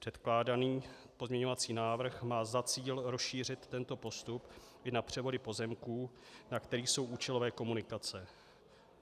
Předkládaný pozměňovací návrh má za cíl rozšířit tento postup i na převody pozemků, na kterých jsou účelové komunikace.